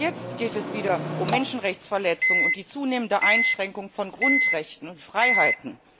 Auch jetzt geht es wieder um Menschenrechtsverletzungen und die zunehmende Einschränkung von Grundrechten und Freiheiten.